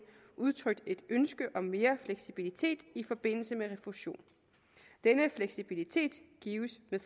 udtrykt et ønske om mere fleksibilitet i forbindelse med refusion denne fleksibilitet gives med